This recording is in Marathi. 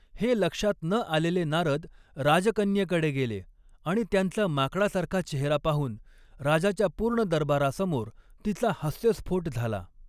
हे लक्षात न आलेले नारद राजकन्येकडे गेले आणि त्यांचा माकडासारखा चेहरा पाहून राजाच्या पूर्ण दरबारासमोर तिचा हास्यस्फोट झाला.